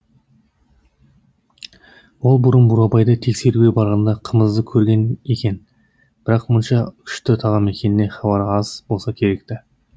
ол бұрын бурабайды тексеруге барғанда қымызды көрген екен бірақ мұнша күшті тағам екенінен хабары аз болса керек ті